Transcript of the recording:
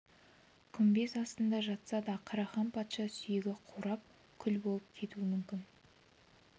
күмбез астында жатса да қарахан патша сүйегі қурап күл болып кетуі мүмкін